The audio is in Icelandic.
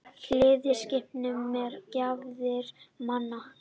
Hlýða skipunum mér gáfaðri manna.